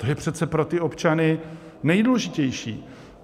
To je přece pro ty občany nejdůležitější.